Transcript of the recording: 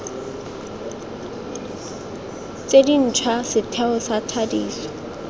tse dintšhwa setheo sa thadiso